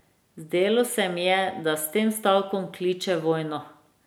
Zdelo se mi je, da s tem stavkom kliče vojno.